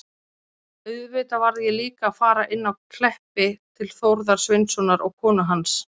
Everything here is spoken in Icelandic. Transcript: Auðvitað varð ég líka að fara inn að Kleppi til Þórðar Sveinssonar og konu hans.